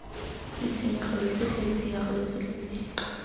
ditshenyegelo tsotlhe ditshenyegelo tsotlhe tse